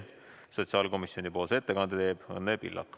Sotsiaalkomisjoni ettekande teeb Õnne Pillak.